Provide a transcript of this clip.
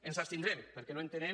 ens abstindrem perquè no entenem